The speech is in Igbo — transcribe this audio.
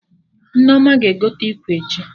Nneoma ga-egote ikwe echi